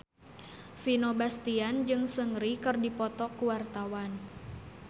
Vino Bastian jeung Seungri keur dipoto ku wartawan